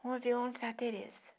Vamos ver onde está a Tereza.